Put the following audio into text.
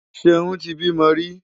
Ṣeún ti bímọ rí.